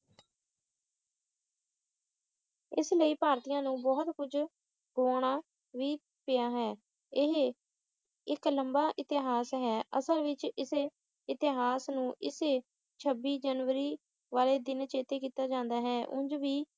ਇਸ ਲਈ ਭਾਰਤੀਆਂ ਨੂੰ ਬਹੁਤ ਕੁਝ ਗੁਆਉਣਾ ਵੀ ਪਿਆ ਹੈ ਇਹ ਇੱਕ ਲੰਬਾ ਇਤਿਹਾਸ ਹੈ ਅਸਲ ਵਿੱਚਇਸੀ ਇਤ੍ਹਿਹਾਸ ਨੂੰ ਇਸ ਛੱਬੀ ਜਨਵਰੀ ਵਾਲੇ ਦਿਨ ਚੇਤੇ ਕੀਤਾ ਜਾਂਦਾ ਹੈ ਉਂਝ ਵੀ